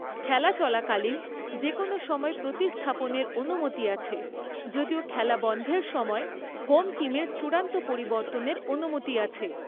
খেলা চলাকালীন যেকোনও সময়ে প্রতিস্থাপনের অনুমতি আছে, যদিও খেলা বন্ধের সময় হোম টিমের চূড়ান্ত পরিবর্তনের অনুমতি আছে।